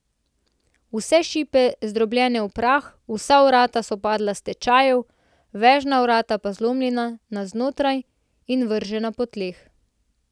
Vse šipe zdrobljene v prah, vsa vrata so padla s tečajev, vežna vrata pa zlomljena na znotraj in vržena po tleh.